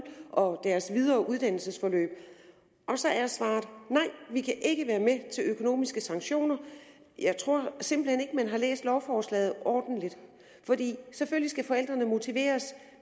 og deres videre uddannelsesforløb og så er svaret nej vi kan ikke være med til økonomiske sanktioner jeg tror simpelt hen ikke at man har læst lovforslaget ordentligt for selvfølgelig skal forældrene motiveres